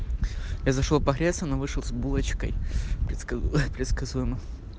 я зашёл погреться но вышел с булочкой предсказуемо